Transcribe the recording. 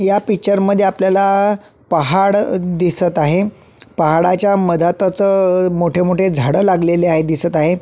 या पिक्चर मध्ये आपल्याला आ पहाड अ दिसत आहे. पहाडाच्या मधातच अअ मोठे मोठे झाडं लागलेले आहेत दिसत आहे.